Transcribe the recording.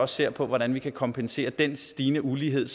ser på hvordan vi kan kompensere for den stigende ulighed